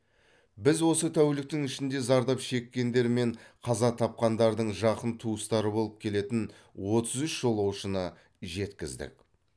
біз осы тәуліктің ішінде зардап шеккендер мен қаза тапқандардың жақын туыстары болып келетін отыз үш жолаушыны жеткіздік